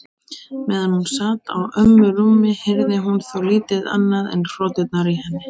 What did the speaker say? Meðan hún sat á ömmu rúmi heyrði hún þó lítið annað en hroturnar í henni.